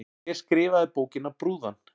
Hver skrifaði bókina Brúðan?